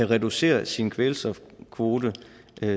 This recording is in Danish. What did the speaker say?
reducere sin kvælstofkvote